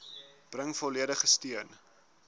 bring volledige steun